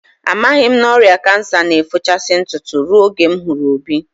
Amaghị m na ọrịa kansa na-efochasị ntụtụ ruo oge m hụrụ Obi